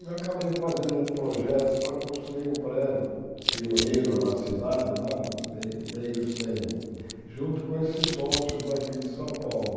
E acabei fazendo um projeto para construir um prédio pioneiro na cidade, lá, me meio sem, junto com esses sócios daqui de São Paulo.